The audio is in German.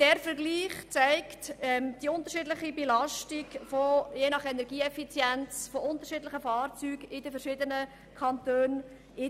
Der Vergleich zeigt die unterschiedliche Belastung verschiedener Fahrzeuge aufgrund ihrer Energiebilanz in verschiedenen Kantonen.